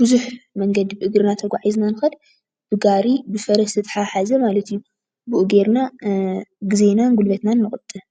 ብዙሕ መንገዲ ብእግርና ተጓዒዝና ዝኸድ ብጋሪ ብፈረስ ዝተታሓሓዘ ማለት እዩ ብኡ ገይርና ጊዜናን ጉልበትናን ንቑጥብ፡፡